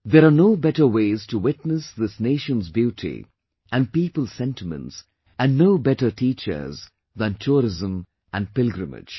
There are no better ways to witness this nation's beauty and people's sentiments and no better teachers than tourism and pilgrimage